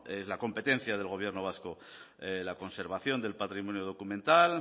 es la competencia del gobierno vasco la conservación del patrimonio documental